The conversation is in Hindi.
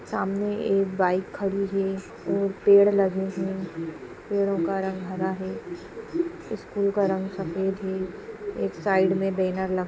सामने एक बाइक खड़ी है और पेड़ लगे हैं पेड़ो का रंग हरा है स्कूल का रंग सफेद है एक साइड में बैनर लगा -----